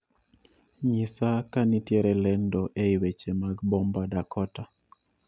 Nyisa kanitiere lendo ei weche mag bomba dakota